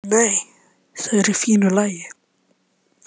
Nei, þau eru í fínu lagi.